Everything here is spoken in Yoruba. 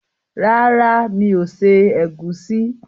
Rárá, mi ò se ẹ̀gúsí.